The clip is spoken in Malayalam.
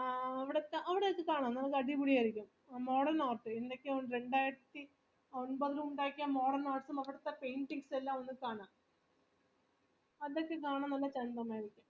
ആ അവിടൊക്കെ കാണാ നമുക്ക് അടിപൊളിയാരിക്കും രണ്ടായിരത്തി ഒൻപതിൽ ഉണ്ടാക്കിയ modert art painting അകത്തും അവിടുത്തെ paintings എല്ലാം ഒക്കെ കാണാ അതൊക്കെ കാണാൻ നല്ല ചന്ദമാരിക്കും